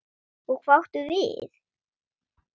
Og hvað áttu við?